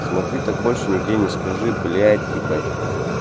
смотри так больше нигде не скажи блять ебать